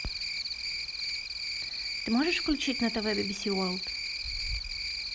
ты можешь включить на тв би би си ворлд